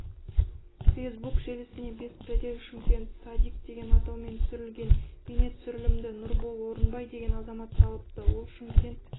фейсбук желісіне беспредел шымкент садик деген атаумен түсірілген бейнетүсірілімді нұрбол орынбай деген азамат салыпты ол шымкент